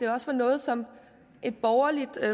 også er noget som et borgerligt